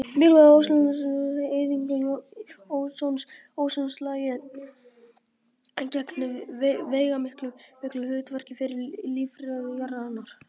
Mikilvægi ósonlagsins og náttúruleg eyðing ósons Ósonlagið gegnir veigamiklu hlutverki fyrir lífríki jarðarinnar.